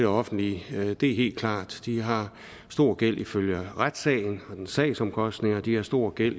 offentlige det er helt klart de har stor gæld som følge af retssagen og dens sagsomkostninger de har stor gæld